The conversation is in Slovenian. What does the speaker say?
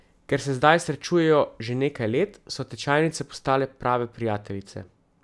Ker se zdaj srečujejo že nekaj let, so tečajnice postale prave prijateljice.